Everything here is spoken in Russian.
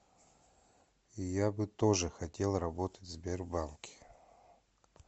я бы тоже хотел работать в сбербанке